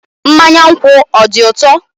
Mmanya nkwu ọ dị ụtọ?